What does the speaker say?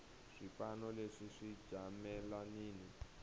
swipano leswi swi jamelanini